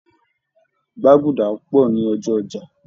Gbàgúdá ń pọ̀ ni ọjọ́ ọjà